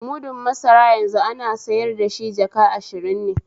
Mudun masara yanzu ana sayar dashi jaka ashirin ne